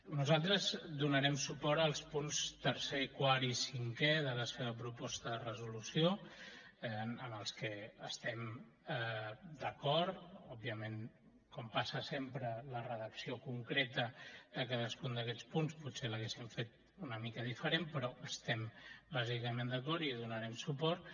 nosaltres donarem suport als punts tercer quart i cinquè de la seva proposta de resolució amb els que estem d’acord òbviament com passa sempre la redacció concreta de cadascun d’aquests punts potser l’haguéssim fet una mica diferent però hi estem bàsicament d’acord i hi donarem suport